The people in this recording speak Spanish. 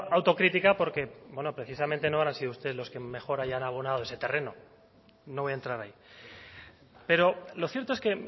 autocrítica porque bueno precisamente no habrán sido ustedes los que mejor hayan abonado ese terreno no voy a entrar ahí pero lo cierto es que